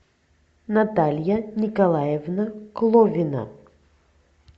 наталья николаевна кловина